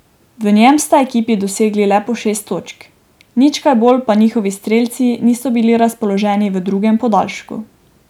V njem sta ekipi dosegli le po šest točk, nič kaj bolj pa njihovi strelci niso bili razpoloženi v drugem podaljšku.